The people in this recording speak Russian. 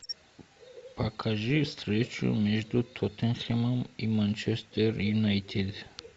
покажи встречу между тоттенхэмом и манчестер юнайтед